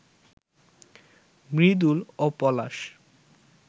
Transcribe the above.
মৃদুল ও পলাশ